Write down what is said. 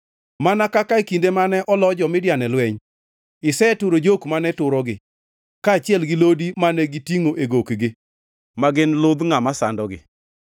Mana kaka e kinde mane olo jo-Midian e lweny, iseturo jok mane turogi, kaachiel gi lodi mane gitingʼo e gokni, ma gin ludh ngʼama sandogi.